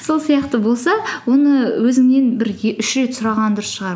сол сияқты болса оны өзіңнен бір үш рет сұраған дұрыс шығар